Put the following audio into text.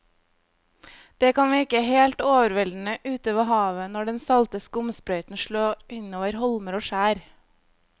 Det kan virke helt overveldende ute ved havet når den salte skumsprøyten slår innover holmer og skjær.